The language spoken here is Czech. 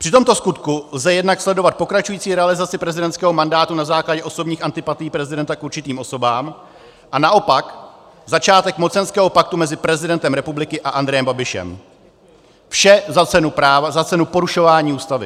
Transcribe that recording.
Při tomto skutku lze jednak sledovat pokračující realizaci prezidentského mandátu na základě osobních antipatií prezidenta k určitým osobám, a naopak začátek mocenského paktu mezi prezidentem republiky a Andrejem Babišem, vše za cenu porušování Ústavy.